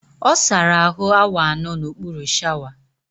Ọ sara ahụ awa anọ n'okpuru shawa